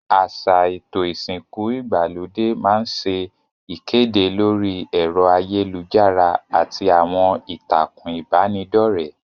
Àsà èto ìsìnku ìgbàlódé ma n se ìkédè lórí èro ayélujárá àti àwon ìtàkùn ìbànidọ́rẹ́